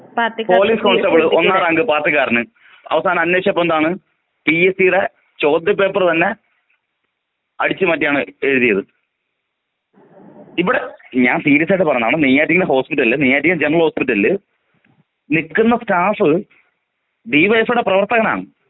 Police constable ഒന്നാം rank പാർട്ടികാരന് അവസാനം അന്വേഷിച്ചപ്പോൾ എന്താണ്? പിഎസ്സി ടെ ചോദ്യപേപ്പർ തന്നെ അടിച്ച്. മാറ്റിയാണ് എഴുതിയത്.ഇവടെ ഞാൻ സീരിയസ്സായീട് പറഞ്ഞതാണ് നെയ്യാറ്റിൻകര ഹോസ്പിറ്റലിൽ ജനറൽ ഹോസ്പിറ്റൽ നിക്കുന്ന സ്റ്റാഫ് ഡിവൈഎഫ്ഐ ടെ പ്രവർത്തകനാണ്.